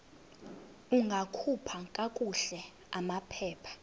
ungakhupha kakuhle amaphepha